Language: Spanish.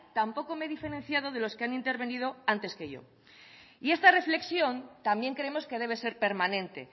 tampoco me he diferenciado de los que han intervenido antes que yo y esta reflexión también creemos que debe ser permanente